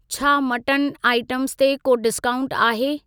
छा mutton items ते को डिस्काऊंट आहे?